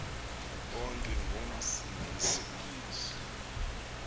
bonke ngomsindisi uyesu